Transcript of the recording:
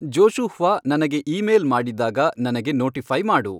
Joshua ನನಗೆ email ಮಾಡಿದಾಗ ನನಗೆ ನೋಟಿಫೈ ಮಾಡು